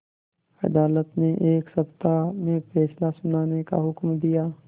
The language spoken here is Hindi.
अदालत ने एक सप्ताह में फैसला सुनाने का हुक्म दिया